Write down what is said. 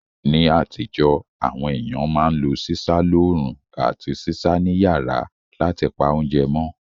Ní àtíjó, àwon ééyàn ma n lo sísá loorún àti sísá ni yàrá látipa ounje mó